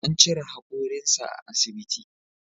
An cire hakorinsa a asbiti.